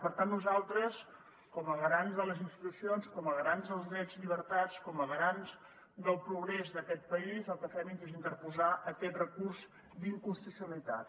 per tant nosaltres com a garants de les institucions com a garants dels drets i llibertats com a garants del progrés d’aquest país el que fem és interposar aquest recurs d’inconstitucionalitat